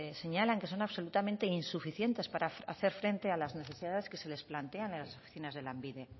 señalan que son absolutamente insuficientes para hacer frente a las necesidades que se les plantean en las oficinas de lanbide